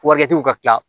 ka kila